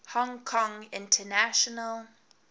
hong kong international